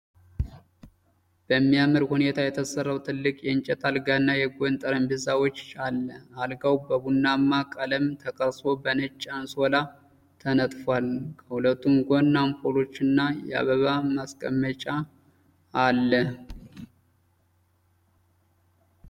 በሚያምር ሁኔታ የተሠራው ትልቅ የእንጨት አልጋና የጎን ጠረጴዛዎች አለ። አልጋው በቡናማ ቀለም ተቀርጾ በነጭ አንሶላ ተነጥፏል። ከሁለቱም ጎን አምፖሎችና የአበባ ማስቀመጫ አለ።